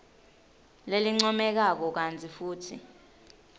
lelincomekako kantsi futsi